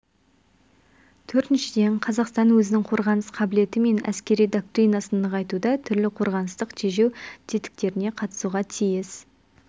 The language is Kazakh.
төртіншіден қазақстан өзінің қорғаныс қабілеті мен әскери доктринасын нығайтуда түрлі қорғаныстық тежеу тетіктеріне қатысуға тиіс